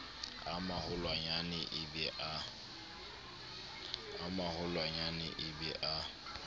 a maholwanyane e be a